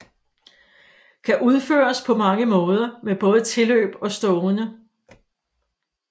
Kan udføres på mange måder med både tilløb og stående